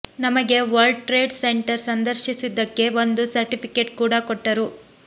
ನಮಗೆ world trade centre ಸಂದರ್ಶಿಸಿದಕ್ಕೆ ಒಂದು ಸರ್ಟಿಫಿಕೇಟ್ ಕೂಡ ಕೊಟ್ಟರು